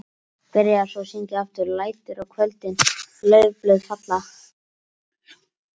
Byrjaði svo að syngja aftur: LÆTUR Á KVÖLDIN LAUFBLÖÐ FALLA.